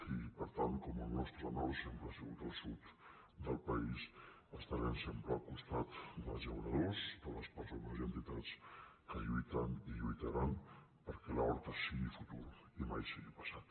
i per tant com el nostre nord sempre ha sigut el sud de país estarem sempre al costat dels llauradors de les persones i entitats que lluiten i lluitaran perquè l’horta sigui futur i mai sigui passat